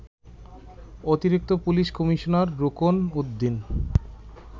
অতিরিক্ত police commissioner Rukon Uddin